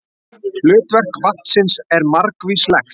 Hlutverk vatnsins margvíslegt.